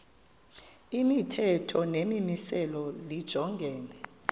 imithetho nemimiselo lijongene